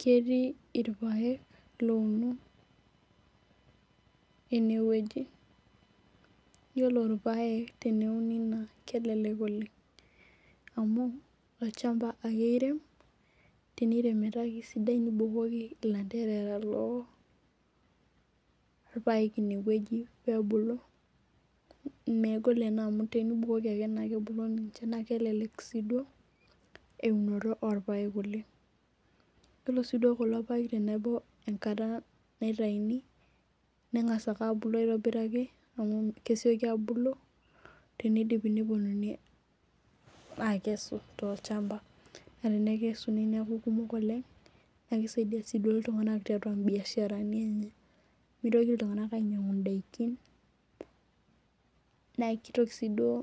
Ketii irpaek louno eneweji. Iyiolo irpaek teneuni naa kelelek oleng' amu olchamba ake irem, teniremi meeta kisidai nibukoki ilanterera loo irpaek ineweji pebulu. Megol anaa amu tenibukoki ake naa kebulu ninche naa kelelek sii duo eunito orpaek oleng'. Iyiolo sii duo irpaek tenebao enkata naitauni neng'as ake abulu aitobiraki amuu kesioki abulu tenidipi neponunui akesu tolchamba naa tenekesuni neeku kumok oleng' naa kisaidia sii duo iltung'ana tiatua ii biashara ni enye. Mitoki iltung'ana ainyang'u idaikin naa kitoki sii duo